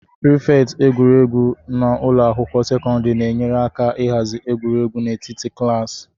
Prịfeti egwuregwu na ụlọ akwụkwọ sekọndrị na-enyere aka ịhazi egwuregwu n'etiti klaasị